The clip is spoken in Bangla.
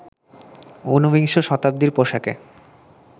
উনবিংশ শতাব্দীর পোশাকে